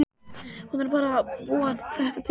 Hún er bara að búa þetta til.